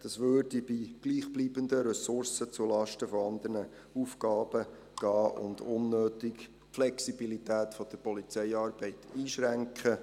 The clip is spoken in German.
Das ginge bei gleichbleibenden Ressourcen zulasten von anderen Aufgaben und würde unnötig die Flexibilität der Polizeiarbeit einschränken.